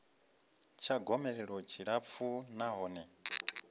tsha gomelelo tshi tshilapfu nahone